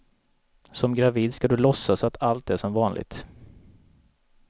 Som gravid ska du låtsas att allt är som vanligt.